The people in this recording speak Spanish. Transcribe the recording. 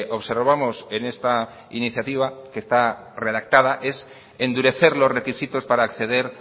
observamos en esta iniciativa que está redactada es endurecer los requisitos para acceder